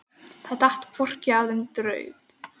Það datt hvorki af þeim né draup.